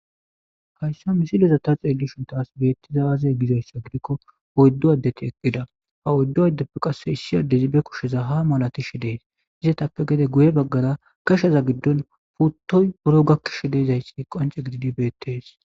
Hayssa misileza ta xeeli shuntaas beettizaaze gizayssa gidikko oyddu addeti eqqida ha oyddu addeppe qasse issi addezi be kusheza ha malati shi dees izetappe gede guye baggara kashaza giddon puttoy buro gakkish deezayssi qance gididi beettees.